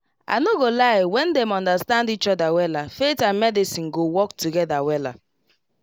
i no go lie when dem understand each other wella faith and medicine go work together wella